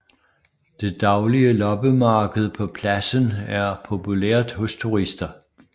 Det daglige loppemarked på pladsen er populært hos turister